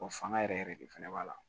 fanga yɛrɛ yɛrɛ de fana b'a la